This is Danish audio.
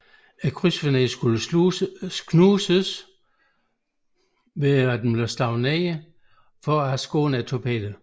Krydsfineren skulle knuses ved nedslaget og skåne torpedoen